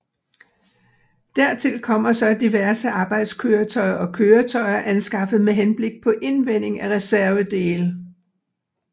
Dertil kommer så diverse arbejdskøretøjer og køretøjer anskaffet med henblik på indvending af reservedele